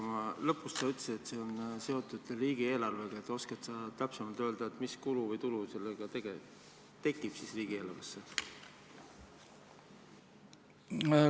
Kuna lõpus sa ütlesid, et see on seotud ka riigieelarvega, siis kas sa oskad täpsemalt öelda, mis kulu või tulu sellega siis riigieelarvesse tekib?